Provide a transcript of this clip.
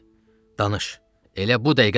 Danış, elə bu dəqiqə danış!